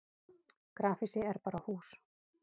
grafhýsi er bara hús